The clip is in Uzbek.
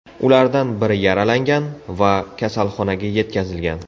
Ulardan biri yaralangan va kasalxonaga yetkazilgan.